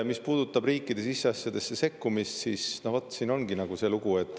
Mis puudutab riikide siseasjadesse sekkumist, no vot, siin ongi selline lugu.